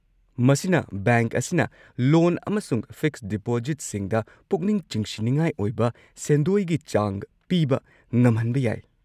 ꯃꯁꯤꯅ ꯕꯦꯡꯛ ꯑꯁꯤꯅ ꯂꯣꯟ ꯑꯃꯁꯨꯡ ꯐꯤꯛꯁ ꯗꯤꯄꯣꯖꯤꯠꯁꯤꯡꯗ ꯄꯨꯛꯅꯤꯡ ꯆꯤꯡꯁꯤꯟꯅꯤꯡꯉꯥꯏ ꯑꯣꯏꯕ ꯁꯦꯟꯗꯣꯏꯒꯤ ꯆꯥꯡ ꯄꯤꯕ ꯉꯝꯍꯟꯕ ꯌꯥꯏ꯫